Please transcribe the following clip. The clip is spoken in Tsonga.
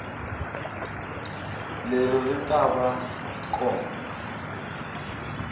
leri ri ta va kona